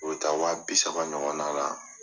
O bɛ taa wa bisa ɲɔgɔnna na.